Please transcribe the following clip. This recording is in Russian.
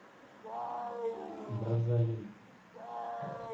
браззавиль